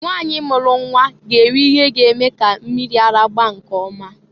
Nwanyị mulu nnwa ga na-eri ihe ga-eme ka mmiri ara gbaa nke ọma.